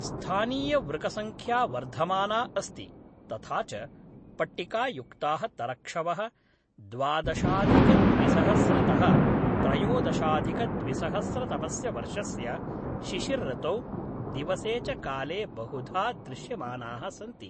स्थानीयवृकसङ्ख्या वर्धमाना अस्ति, तथा च पट्टिकायुक्ताः तरक्षवः, द्वादशाधिकद्विसहस्रतः त्रयोदशाधिकद्विसहस्रतमस्य वर्षस्य शिशिरतौ दिवसे च काले बहुधा दृश्यमानाः सन्ति ।